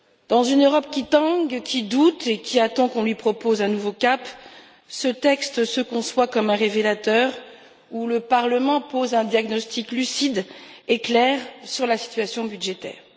Dans une Europe qui tangue, qui doute et qui attend qu'on lui propose un nouveau cap, ce texte se conçoit comme un révélateur, où le Parlement pose un diagnostic lucide et clair sur la situation budgétaire.